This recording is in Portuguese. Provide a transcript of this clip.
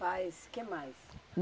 Faz o que mais?